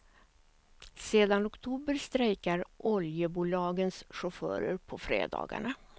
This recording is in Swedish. Sedan oktober strejkar oljebolagens chaufförer på fredagarna.